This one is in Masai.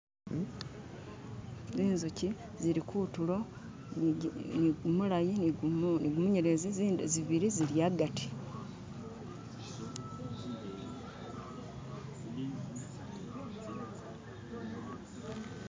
Zinzuchi zili kutulo ni gumulayi ni gumunyelezi zindi zibili zili hagati